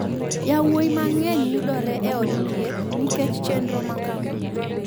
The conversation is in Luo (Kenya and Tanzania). yawuowi mang’eny yudore e od thieth nikech chenro makama.